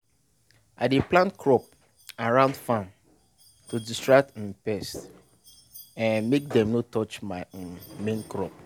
i dey plant early maize to waka pass when pest plenty and make sure say i go harvest on time.